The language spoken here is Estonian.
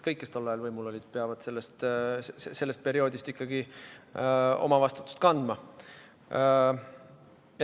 Kõik, kes tol ajal võimul olid, peavad ikkagi oma vastutust kandma.